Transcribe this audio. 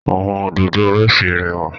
Awọn Òdòdó róòsì rẹwa